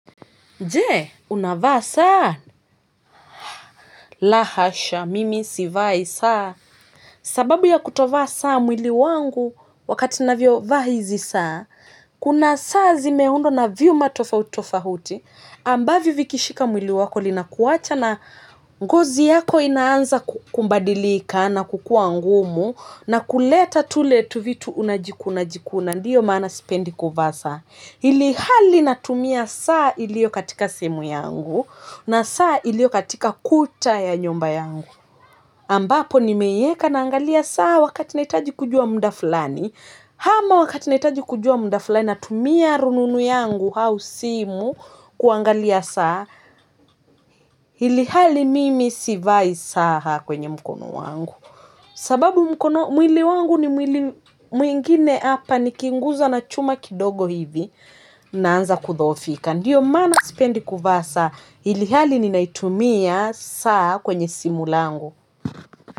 Je, unavaa saa. La hasha, mimi, sivai saa. Sababu ya kutovaa saa mwili wangu wakati ninavyovaa hizi saa. Kuna saa zimeundwa na vyuma tofauti tofauti. Ambavyo vikishika mwili wako linaacha ngozi yako inaanza kubadilika na kukua ngumu. Na kuleta tule tu vitu unajikuna jikuna. Ndiyo maana sipendi kuvaa saa. Ilihali natumia saa iliyo katika sehemu yangu. Na saa iliyo katika ukuta ya nyumba yangu. Ambapo nimeiweka na angalia saa wakati nahitaji kujua muda fulani. Ama wakati nahitaji kujua muda fulani natumia rununu yangu au simu kuangalia saa. Ilihali mimi sivai saa kwenye mkono wangu. Sababu mkono mwili wangu ni mwingine hapa nikinguswa na chuma kidogo hivi naanza kudhofika. Ndiyo maana sipendi kuvaa saa ilhali ninaitumia saa kwenye simu langu.